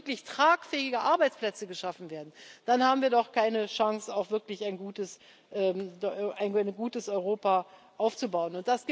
Wenn nicht wirklich tragfähige Arbeitsplätze geschaffen werden, dann haben wir doch keine Chance, auch wirklich ein gutes Europa aufzubauen.